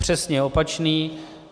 Přesně opačný.